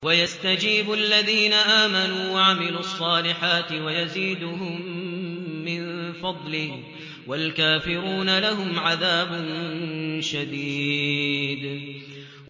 وَيَسْتَجِيبُ الَّذِينَ آمَنُوا وَعَمِلُوا الصَّالِحَاتِ وَيَزِيدُهُم مِّن فَضْلِهِ ۚ وَالْكَافِرُونَ لَهُمْ عَذَابٌ شَدِيدٌ